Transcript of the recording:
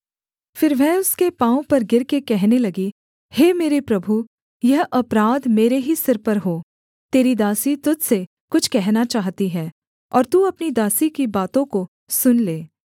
फिर वह उसके पाँव पर गिरकर कहने लगी हे मेरे प्रभु यह अपराध मेरे ही सिर पर हो तेरी दासी तुझ से कुछ कहना चाहती है और तू अपनी दासी की बातों को सुन ले